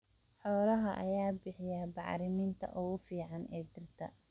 Xoolaha ayaa bixiya bacriminta ugu fiican ee dhirta.